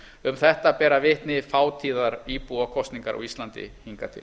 um þetta bera vitni fátíðar íbúakosningar á íslandi hingað til